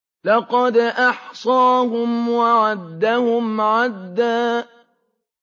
لَّقَدْ أَحْصَاهُمْ وَعَدَّهُمْ عَدًّا